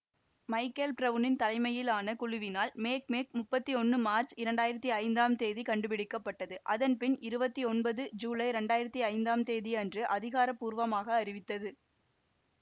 Michael பிரவுனின் தலைமையிலான குழுவினால் மேக்மேக் முப்பத்தி ஒன்னு மார்ச் இரண்டாயிரத்தி ஐந்தாம் தேதி கண்டுபிடிக்கப்பட்டதுஅதன்பின் இருபத்தி ஒன்பது ஜூலை இரண்டாயிரத்தி ஐந்தாம் தேதி அன்று அதிகார பூர்வமாக அறிவித்தது